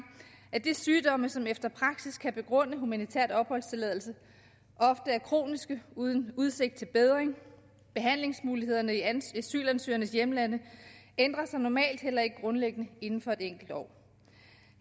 at de sygdomme som efter praksis kan begrunde humanitær opholdstilladelse ofte er kroniske uden udsigt til bedring behandlingsmulighederne i asylansøgernes hjemlande ændrer sig normalt heller ikke grundlæggende inden for et enkelt år